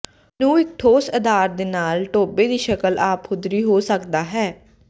ਨੂੰ ਇੱਕ ਠੋਸ ਅਧਾਰ ਦੇ ਨਾਲ ਟੋਭੇ ਦੀ ਸ਼ਕਲ ਆਪਹੁਦਰੀ ਹੋ ਸਕਦਾ ਹੈ